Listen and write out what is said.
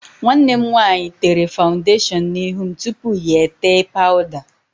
Nwanne m nwaanyị tere fawụndashọn n'ihu m tupu ya etee pawụda.